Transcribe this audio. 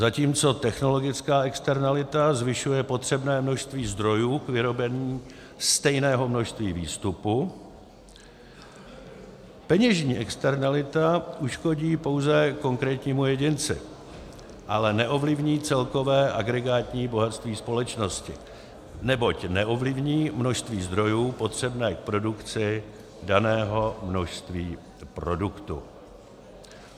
Zatímco technologická externalita zvyšuje potřebné množství zdrojů k vyrobení stejného množství výstupu, peněžní externalita uškodí pouze konkrétnímu jedinci, ale neovlivní celkové agregátní bohatství společnosti, neboť neovlivní množství zdrojů potřebné k produkci daného množství produktu.